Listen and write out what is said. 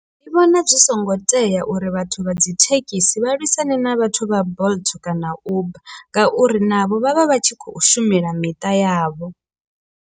Ndi vhona zwi songo tea uri vhathu vha dzi thekhisi vha lwisane na vhathu vha bolt kana uber ngauri navho vhavha vhatshi kho shumela miṱa yavho.